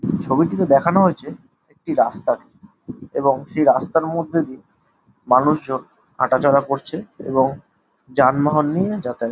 ছবিটিতে দেখানো রয়েছে একটি রাস্তাকে এবং সেই রাস্তার মধ্যে দিয়ে মানুষজন হাঁটাচলা করছে এবং যানবাহন নিয়ে যাতায়াত ।